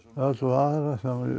öll vara